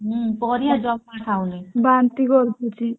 ହୁଁ ପରିବା ଜମା ଖାଉନି